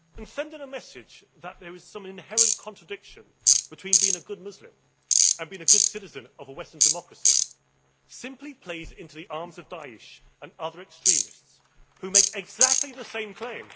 Sending a message that there is some inherent contradiction between being a good Muslim and being a good citizen of a Western democracy, simply plays into the arms of Daesh and other extremists who make exactly the same claim.